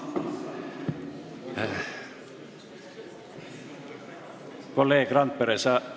Kolleeg Randpere!